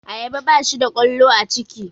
Ayaba bashi da ƙwallo a ciki